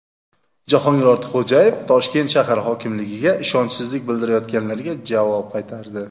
Jahongir Ortiqxo‘jayev Toshkent shahar hokimligiga ishonchsizlik bildirayotganlarga javob qaytardi.